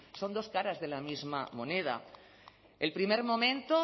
son dos caras de la misma moneda el primer momento